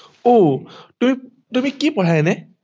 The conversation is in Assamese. অও তুমি তুমি কি পঢ়া এনে